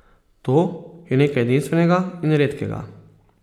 To je nekaj edinstvenega in redkega.